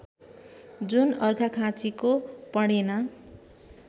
जुन अर्घाखाँचीको पणेना